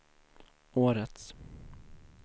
årets